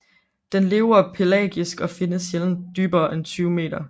Den lever pelagisk og findes sjældent dybere end 20 meter